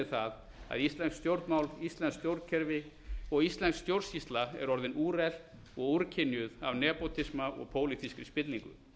það að íslensk stjórnmál íslenskt stjórnkerfi og íslensk stjórnsýsla er orðin úrelt og úrkynjuð af nepótisma og pólitískri spillingu